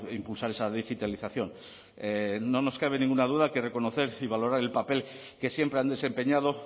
impulsar esa digitalización no nos cabe ninguna duda que reconocer y valorar el papel que siempre han desempeñado